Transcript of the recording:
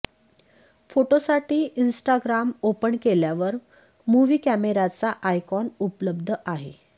फोटोसाठी Instagram open केल्यावर movie कॅमेराचा आयकॉन उपलब्ध आहे